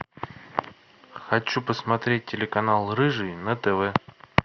хочу посмотреть телеканал рыжий на тв